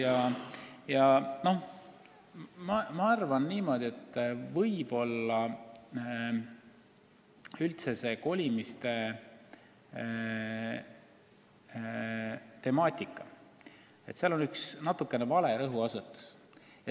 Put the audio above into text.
Arvan aga niimoodi, et võib-olla üldse selle kolimiste temaatika puhul on natuke vale rõhuasetus.